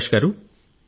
ప్రకాశ్ గారూ